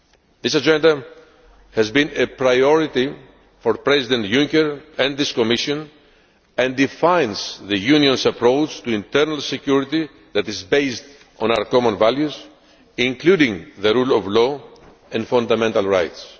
This Agenda has been a priority for President Juncker and this Commission and defines the Union's approach to internal security that is based on our common values, including the rule of law and fundamental rights.